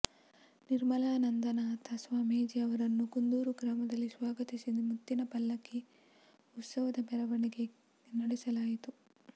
ನಿರ್ಮಲಾನಂದನಾಥ ಸ್ವಾಮೀಜಿ ಅವರನ್ನು ಕುಂದೂರು ಗ್ರಾಮದಲ್ಲಿ ಸ್ವಾಗತಿಸಿ ಮುತ್ತಿನ ಪಲ್ಲಕಿ ಉತ್ಸವದ ಮೆರವಣಿಗೆ ನಡೆಸಲಾಯಿತು